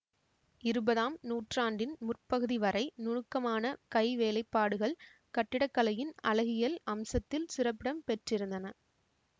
இருபதாம் நூற்றாண்டின் முற்பகுதி வரை நுணுக்கமான கைவேலைப்பாடுகள் கட்டிடக்கலையின் அழகியல் அம்சத்தில் சிறப்பிடம் பெற்றிருந்தன